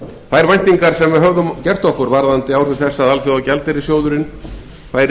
þær væntingar sem við höfðum gert okkur varðandi áhrif þess að alþjóðagjaldeyrissjóðurinn færi í samstarf